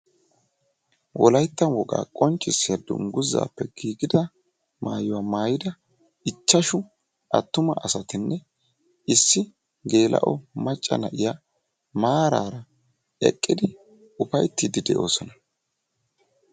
Wolaytta qonccissiyaa dungguzzappe giigida maayuwaa maayidi ichchashshu attumaa asaatinne issi gelao macca na'iyaa maarara eqqidi ufayttidi deosona.